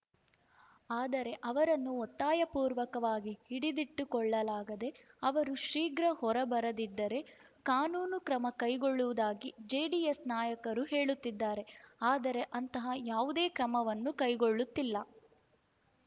ಆದರೆ ಅವರನ್ನು ಒತ್ತಾಯಪೂರ್ವಕವಾಗಿ ಹಿಡಿದಿಟ್ಟುಕೊಳ್ಳಲಾಗಿದೆ ಅವರು ಶೀಘ್ರ ಹೊರಬರದಿದ್ದರೆ ಕಾನೂನು ಕ್ರಮ ಕೈಗೊಳ್ಳುವುದಾಗಿ ಜೆಡಿಎಸ್‌ ನಾಯಕರು ಹೇಳುತ್ತಿದ್ದಾರೆ ಆದರೆ ಅಂತಹ ಯಾವುದೇ ಕ್ರಮವನ್ನು ಕೈಗೊಳ್ಳುತ್ತಿಲ್ಲ